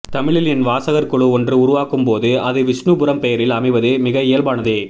தமிழில் என் வாசகர்குழு ஒன்று உருவாகும்போது அது விஷ்ணுபுரம் பெயரில் அமைவது மிக இயல்பானதே